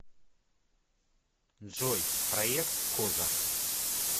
джой проекткоза